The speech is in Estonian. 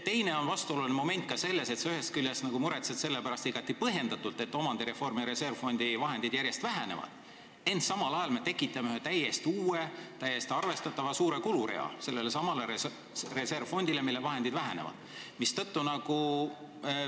Teine vastuoluline moment on see, et sa ühest küljest nagu muretsed selle pärast – ja igati põhjendatult –, et omandireformi reservfondi vahendid järjest vähenevad, ent samal ajal me tekitame sellele juurde ühe täiesti uue ja vägagi arvestatava kulurea.